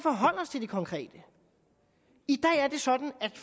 til det konkrete i dag er det sådan at